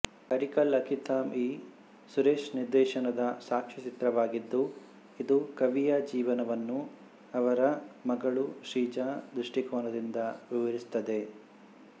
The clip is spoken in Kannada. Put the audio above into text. ಅರಿಕಿಲ್ ಅಕ್ಕಿತಾಮ್ ಇ ಸುರೇಶ್ ನಿರ್ದೇಶನದ ಸಾಕ್ಷ್ಯಚಿತ್ರವಾಗಿದ್ದು ಇದು ಕವಿಯ ಜೀವನವನ್ನು ಅವರ ಮಗಳು ಶ್ರೀಜಾ ದೃಷ್ಟಿಕೋನದಿಂದ ವಿವರಿಸುತ್ತದೆ